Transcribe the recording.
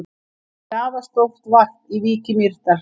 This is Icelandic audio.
Einnig er afar stórt varp við Vík í Mýrdal.